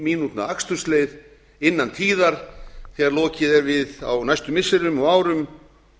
mínútna akstursleið innan tíðar þegar lokið er við á næstu missirum og árum